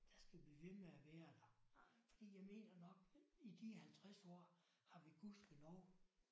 Der skal blive ved med at være der. Fordi jeg mener nok i de 50 år har vi gudskelov